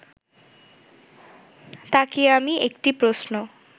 তাকিয়ে আমি একটি প্রশ্ন